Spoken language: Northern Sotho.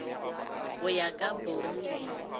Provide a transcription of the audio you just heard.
go ya ka bong le